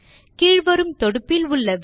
கீழ் வரும் தொடுப்பில் உள்ள விடியோவை காணவும்